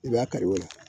I b'a kari o la